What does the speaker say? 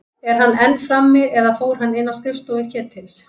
Er hann enn frammi- eða fór hann inn á skrifstofu Ketils?